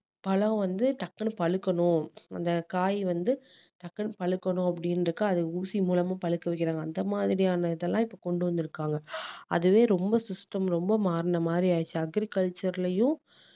பழம் வந்து டக்குனு பழுக்கணும் அந்த காய் வந்து டக்குனு பழுக்கணும் அப்டின்றதுக்கு அது ஊசி மூலமும் பழுக்க வைக்கிறாங்க அந்த மாதிரியான இதெல்லாம் இப்போ கொண்டு வந்துருக்காங்க அதுவே ரொம்ப system ரொம்ப மாறின மாதிரி ஆயிடிச்சு agriculture லயும்